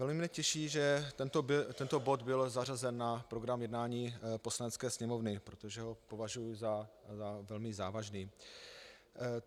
Velmi mě těší, že tento bod byl zařazen na program jednání Poslanecké sněmovny, protože ho považuju za velmi závažný.